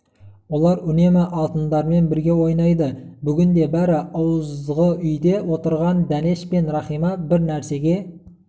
олар үнемі алтындармен бірге ойнайды бүгін де бәрі ауызғы үйде отырған дәнеш пен рахима бір нәрсеге